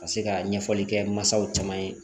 Ka se ka ɲɛfɔli kɛ masaw caman ye